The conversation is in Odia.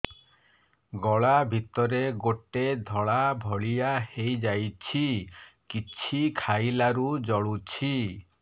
ଗଳା ଭିତରେ ଗୋଟେ ଧଳା ଭଳିଆ ହେଇ ଯାଇଛି କିଛି ଖାଇଲାରୁ ଜଳୁଛି